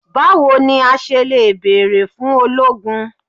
Bawo ni a ṣe le beere fun ologun?